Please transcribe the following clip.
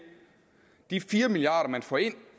de fire milliard kr som man får ind